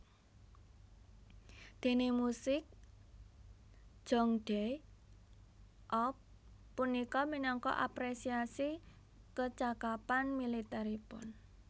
Déné musik Jeongdae eop punika minangka apresiasi kecakapan militeripun